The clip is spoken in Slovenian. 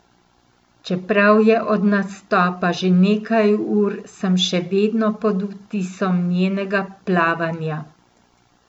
Čeprav je od nastopa že nekaj ur, sem še vedno pod vtisom njenega plavanja.